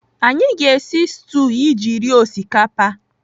Anyị ga-esi stuu iji rie osikapa.